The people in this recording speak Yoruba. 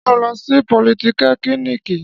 Ṣé ó lọ sí politẹ́kìnìkì?